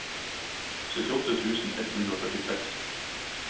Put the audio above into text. syttiåtte tusen ett hundre og førtiseks